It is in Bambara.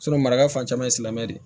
maraka fan caman ye silamɛ de ye